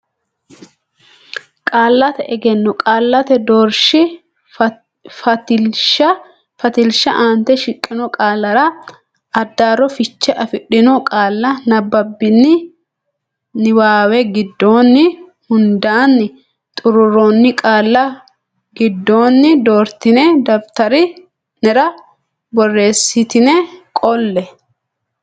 Qaallate Egenno Qaallate Doorshi Fatilsha Aante shiqqino qaallara addaarro fiche afidhino qaalla nabbabbini niwaawe giddonni hundaanni xuruurroonni qaalla giddonni doortine daftari nera borreessitine qolle.